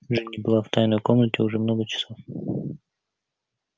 джинни была в тайной комнате уже много часов